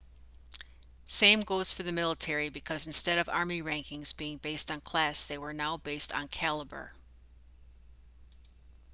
same goes for the military because instead of army rankings being based on class they were now based on cailaber